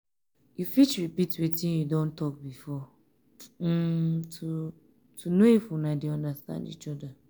you fit repeat wetin you don talk before um to um know if una de understand each oda